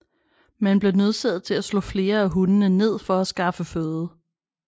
Man blev nødsaget til at slå flere af hundene ned for at skaffe føde